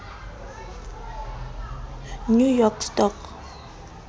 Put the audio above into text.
new york stock